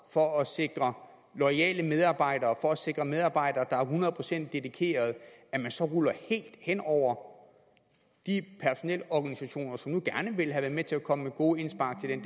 for at sikre loyale medarbejdere for at sikre medarbejdere der er hundrede procent dedikerede så ruller man helt hen over de personelorganisationer som nu gerne ville have været med til at komme med gode indspark til den